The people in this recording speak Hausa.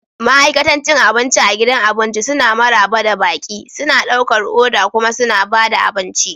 Ma'aikatan cin abinci a gidan abinci suna maraba da baƙi, suna ɗaukar oda kuma suna ba da abinci.